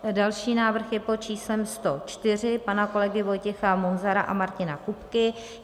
Další návrh je pod číslem 104 pana kolegy Vojtěcha Munzara a Martina Kupky.